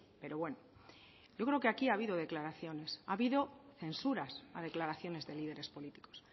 pero bueno yo creo que aquí ha habido declaraciones ha habido censuras a declaraciones de líderes políticos